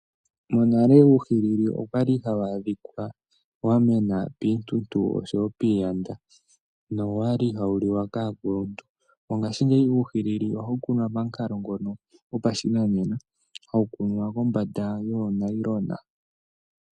Monale uuhili okwali hawu adhika wamena piintuntu , oshowo piiyanda nowali hawu liwa kaakuluntu. Mongashingeyi ohawu kunwa pamukalo ngono gwokukuna kombanda yoonayilona.